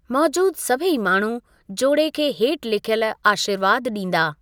मौज़ूदु सभेई माण्हूं जोड़े खे हेठि लिखयलु आशीर्वादु डीं॒दा।